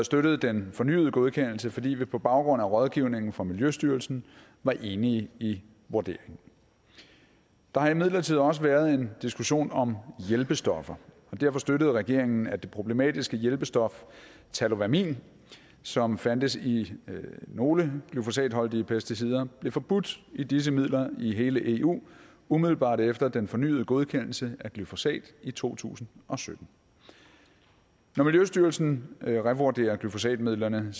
støttede den fornyede godkendelse fordi vi på baggrund af rådgivningen fra miljøstyrelsen var enige i vurderingen der har imidlertid også været en diskussion om hjælpestoffer og derfor støttede regeringen at det problematiske hjælpestof tallowamin som fandtes i nogle glyfosatholdige pesticider blev forbudt i disse midler i hele eu umiddelbart efter den fornyede godkendelse af glyfosat i to tusind og sytten når miljøstyrelsen revurderer glyfosatmidlerne